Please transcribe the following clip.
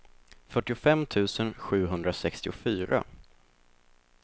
fyrtiofem tusen sjuhundrasextiofyra